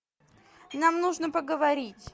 нам нужно поговорить